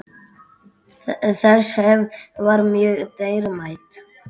Þessi hefð var mjög dýrmæt.